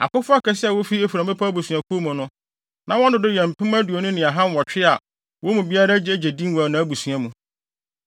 Akofo akɛse a wofi Efraim abusuakuw mu no, na wɔn dodow yɛ mpem aduonu ne ahanwɔtwe (20,800) a wɔn mu biara agye din wɔ nʼabusua mu.